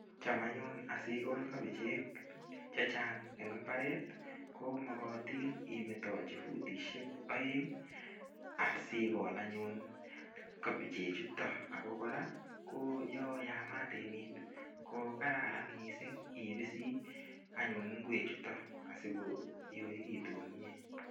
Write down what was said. Cham anyun asikol kopichek chechang eng mbaret, komokotin imetochi futishek oeng asikol anyun kopichechutok. Ako kora ko yo yamat emet kokararan mising ipisi anyun ingwechutok asi koyoekitu komie.